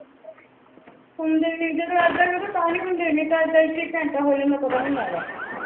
ਹੁਣ ਜੇ ਜਦੋ ਇਦਾ ਕਰੋ ਤਾ ਨੀ ਨਹੀ ਤਾ ਇੱਕ ਇੱਕ ਘੰਟਾ ਹੋ ਜਾਂਦਾ ਪਤਾ ਵੀ ਨੀ ਲੱਗਦਾ